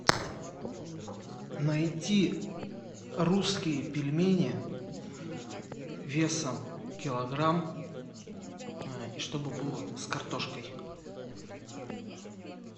найти русские пельмени весом килограмм и чтобы было с картошкой